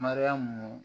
Mariyamu